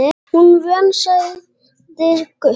Hún er vön, sagði Gutti.